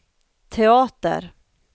teater